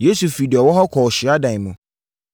Yesu firii deɛ ɔwɔ hɔ kɔɔ hyiadan mu.